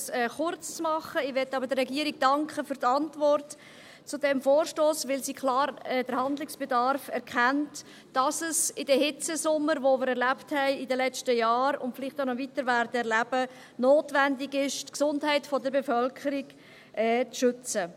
Ich möchte aber der Regierung für die Antwort zu diesem Vorstoss danken, weil sie klar den Handlungsbedarf erkennt, dass es in den Hitzesommern, die wir in den letzten Jahren erlebt haben und vielleicht auch noch weiter erleben werden, notwendig ist, die Gesundheit der Bevölkerung zu schützen.